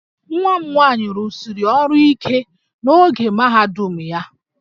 Nwa m nwaanyị rụsiri ọrụ ike n'oge mahadum ya